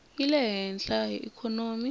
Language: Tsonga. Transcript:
yi le hehla hi ikhonomi